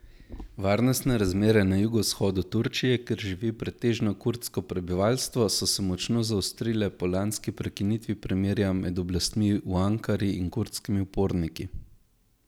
Varnostne razmere na jugovzhodu Turčije, kjer živi pretežno kurdsko prebivalstvo, so se močno zaostrile po lanski prekinitvi premirja med oblastmi v Ankari in kurdskimi uporniki.